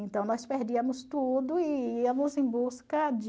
Então, nós perdíamos tudo e íamos em busca de...